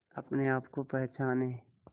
अपने आप को पहचाने